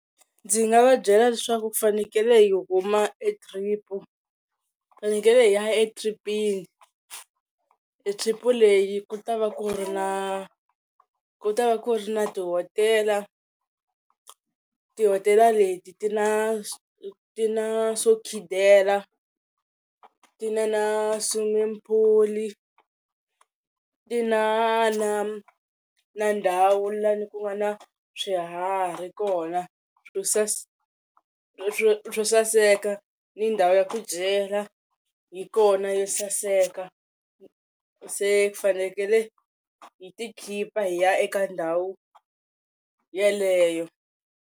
Ndzi nga va byela leswaku ku fanekele hi huma e trip hi fanekele hi ya etripini. E trip leyi ku ta va ku ri na, ku ta va ku ri na tihotela tihotela leti ti na ti na swo khidela ti na na swimming pool, ti na na na ndhawu laha ni ku nga na swiharhi kona swo swo saseka ni ndhawu ya ku dyela yi kona yo saseka se fanekele hi ti khipa hi ya eka ndhawu yaleyo.